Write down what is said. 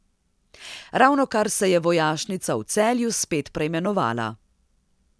Ravnokar se je vojašnica v Celju spet preimenovala.